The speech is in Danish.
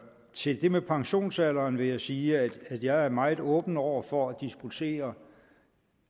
til det med pensionsalderen vil jeg sige at jeg er meget åben over for at diskutere